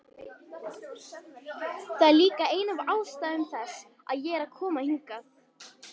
Það er líka ein af ástæðum þess að ég er að koma hingað.